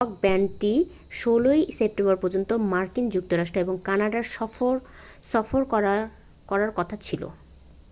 rock ব্যান্ডটি 16ই September পর্যন্ত মার্কিন যুক্তরাষ্ট্র এবং কানাডায় সফর করারকথা ছিল